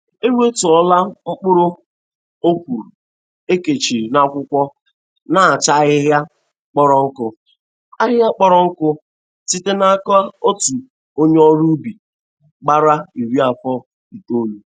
Enwettụọla m mkpụrụ ọkwụrụ e.kechiri n'akwụkwọ na-acha ahịhịa kpọrọ nkụ ahịhịa kpọrọ nkụ site n'aka otu onye ọrụ ubi gbara iri afọ itolu.